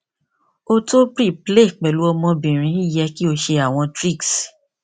o to preplay pẹlu ọmọbirin yẹ ki o ṣe awọn tricks